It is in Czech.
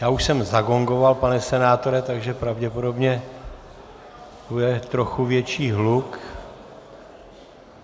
Já už jsem zagongoval, pane senátore, takže pravděpodobně bude trochu větší hluk.